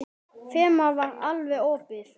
Þemað var alveg opið.